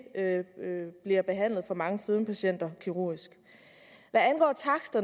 bliver behandlet for mange fedmepatienter kirurgisk